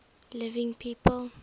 living people